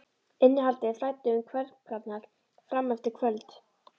Innihaldið flæddi um kverkarnar fram eftir kvöldi.